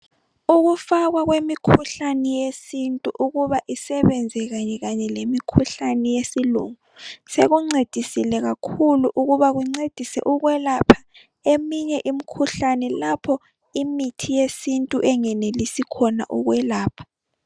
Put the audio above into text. Ukufakwa kwemikhuhlane yesintu ukuba isebenze kanye kanye lemikhuhlane yesilungu sekuncedisile kakhulu ukuba kuncedise ukwelapha eminye imikhuhlane lapho imithi yesintu engenelisi khona ukwelapha.